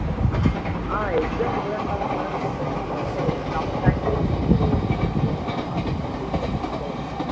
ஆஹ் exam புதன் கிழமை அப்பறம் எப்போ நமக்கு சனிக்கிழமை முடிஞ்சிடும் விவேக் புதன் கிழமை ஆரம்பிச்சிட்டு சனிக்கிழமை